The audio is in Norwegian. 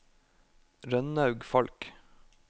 Rønnaug Falch